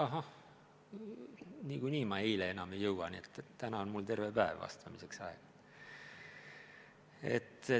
Ahah, eile ma enam ei jõudnud, aga täna on mul terve päev vastamiseks aega.